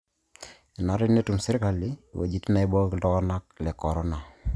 Bulabul le Brachycephalofrontonasia dysplasia.